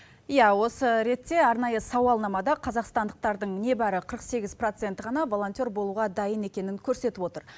иә осы ретте арнайы сауалнамада қазақстандықтардың небәрі қырық сегіз проценті ғана волонтер болуға дайын екенін көрсетіп отыр